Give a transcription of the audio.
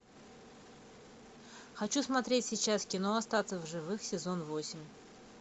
хочу смотреть сейчас кино остаться в живых сезон восемь